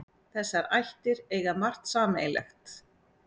Þessar ættir eiga margt sameiginlegt.